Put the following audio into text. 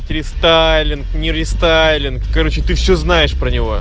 рестайлинг не рестайлинг короче ты все знаешь про него